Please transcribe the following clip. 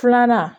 Filanan